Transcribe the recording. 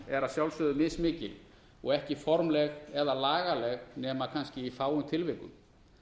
að sjálfsögðu mis mikil og ekki formleg eða lagaleg nema kannski í fáum tilvikum